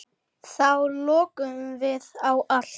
Þá lokuðum við á allt.